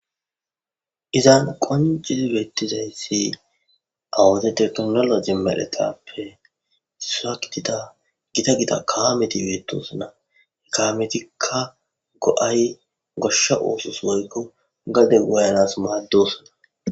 izan qonce beettizayssi awude teknolo je maletappe isa kitita gita gida kaameti beetosana ekaametikka go7ay goshsha oosos moykko gade woyanas maaddosana